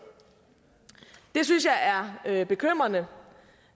det synes jeg er bekymrende